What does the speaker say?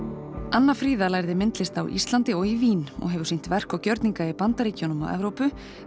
anna Fríða lærði myndlist á Íslandi og í Vín og hefur sýnt verk og gjörninga í Bandaríkjunum og Evrópu